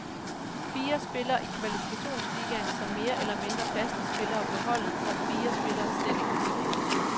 Fire spiller i kvalifikationsligaen, som mere eller mindre faste spillere på holdet, og fire spiller slet ikke for tiden.